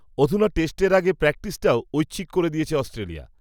অধুনা টেস্টের আগে প্র্যাকটিসটাও, ঐচ্ছিক করে দিয়েছে অস্ট্রেলিয়া